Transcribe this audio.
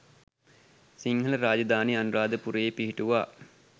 සිංහල රාජධානිය අනුරාධපුරයේ පිහිටුවා